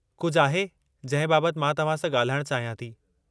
कुझु आहे जंहिं बाबतु मां तव्हां सां ॻाल्हाइणु चाहियां थी।